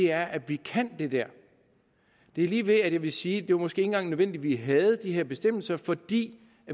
er at vi kan det der det er lige ved at jeg vil sige at det måske ikke engang var nødvendigt at vi havde de her bestemmelser fordi